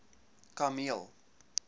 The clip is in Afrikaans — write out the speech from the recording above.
kameel